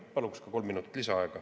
Palun kolm minutit lisaaega.